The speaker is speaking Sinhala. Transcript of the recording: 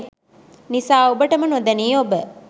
නිසා ඔබටම නොදැනී ඔබ